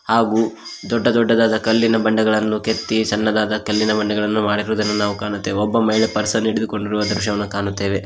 ಹಾಗು ದೊಡ್ಡ ದೊಡ್ಡದಾದ ಕಲ್ಲಿನ ಬಂಡೆಗಳನ್ನು ಕೆತ್ತಿ ಸಣ್ಣದಾದ ಕಲ್ಲಿನ ಬಂಡೆಗಳನ್ನು ಮಾಡಿರುವುದನ್ನು ನಾವು ಕಾಣುತ್ತೇವೆ ಒಬ್ಬ ಮಹಿಳೆ ಪರ್ಸನ್ನು ಹಿಡಿದುಕೊಂಡಿರುವ ದೃಶ್ಯವನ್ನು ನಾವು ಕಾಣುತ್ತೇವೆ.